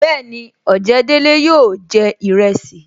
Bẹẹni, ojedele yóò jẹ iresi